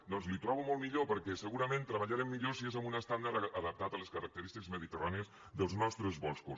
doncs ho tro·bo molt millor perquè segurament treballarem millor si és amb un estàndard adaptat a les característiques mediterrànies dels nostres boscos